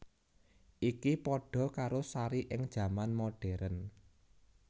Iki padha karo Sari ing jaman modern